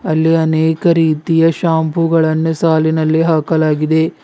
ಅಲ್ಲಿ ಅನೇಕ ರೀತಿಯ ಶಾಂಪೂ ಗಳನ್ನು ಸಾಲಿನಲ್ಲಿ ಹಾಕಲಾಗಿದೆ.